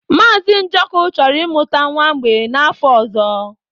Mazị Njoku chọrọ ịmụta nwa mgbei n'afọ ọzọ.